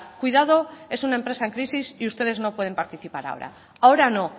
cuidado es una empresa en crisis y ustedes no pueden participar ahora ahora no